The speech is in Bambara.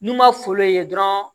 N'u ma foolo ye dɔrɔn